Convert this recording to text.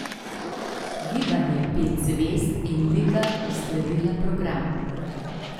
Gibanje pet zvezd in Liga uskladila program.